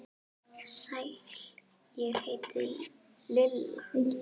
Sæl, ég heiti Lilla